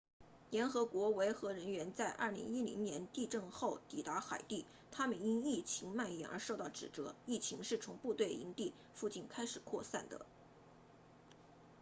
联合国维和人员在2010年地震后抵达海地他们因疫情蔓延而受到指责疫情是从部队营地附近开始扩散的